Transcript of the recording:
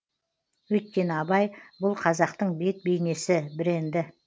өйткені абай бұл қазақтың бет бейнесі бренді